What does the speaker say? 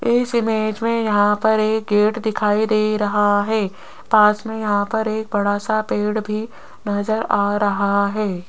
इस इमेज में यहां पर एक गेट दिखाई दे रहा है पास में यहां पर एक बड़ा सा पेड़ भी नज़र आ रहा है।